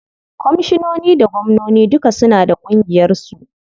Komishinoni da gwamnoni duka suna da ƙungiyar su.